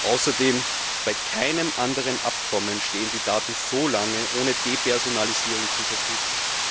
Außerdem stehen bei keinem anderen Abkommen die Daten so lange ohne Depersonalisierung zur Verfügung.